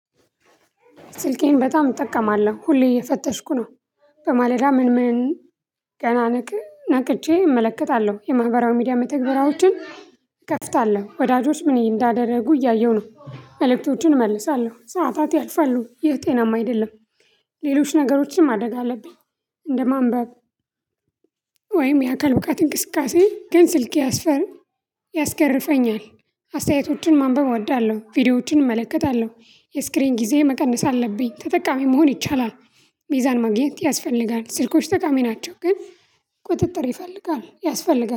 ስልኬን በጣም እጠቀማለሁ ሁሌ እየፈተሽኩ ነው። በማለዳ ምን ምን? ገና ነቅቼ እመለከታለሁ የማህበራዊ ሚዲያ መተግበሪያዎችን እከፍታለሁ። ወዳጆች ምን እንዳደረጉ እያየሁ ነው መልእክቶቹን እመልሳለሁ። ሰዓታት ያልፋሉ ይህ ጤናማ አይደለም። ሌሎች ነገሮችንም ማድረግ አለብኝ። እንደማንበብ ወይም የአካል ብቃት እንቅስቃሴ። ግን ስልኬ ያስገርፈኛል አስተያየቶችን ማንበብ እወዳለሁ። ቪዲዮዎችን እመለከታለሁ የስክሪን ጊዜ መቀነስ አለብኝ። ተጠቃሚ መሆን ይቻላል። ሚዛን ማግኘት ያስፈልጋል። ስልኮች ጠቃሚ ናቸው ግን ቁጥጥር ይፈልጋል ያስፈልጋል